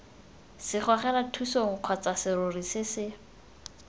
segogelathusong kgotsa serori se se